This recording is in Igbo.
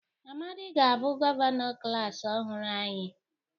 Amadi ga-abụ gọvanọ klas ọhụrụ anyị